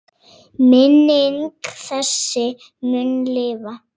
Minning þessi mun lifa.